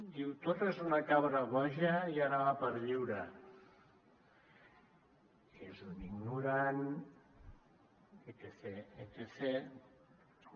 diu torra és una cabra boja i ara va per lliure és un ignorant etcètera